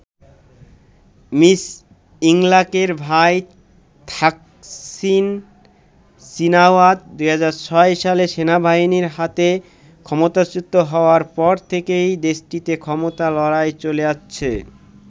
Miss ইংলাকের ভাই Thaksin Shinawatra ২০০৬ সালে সেনাবাহিনীর হাতে ক্ষমতাচ্যুত হওয়ার পর থেকেই দেশটিতে ক্ষমতা লড়াই চলে আসছে।